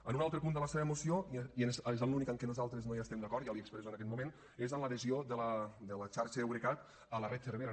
en un altre punt de la seva moció i és l’únic en què nosaltres no hi estem d’acord ja l’hi expresso en aquest moment és l’adhesió de la xarxa eurecat a la red cervera